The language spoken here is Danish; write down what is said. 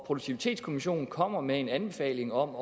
produktivitetskommissionen kommer med en anbefaling om